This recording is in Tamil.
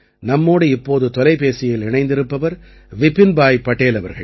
நம்மோடு இப்போது தொலைபேசியில் இணைந்திருப்பவர் விபின்பாய் படேல் அவர்கள்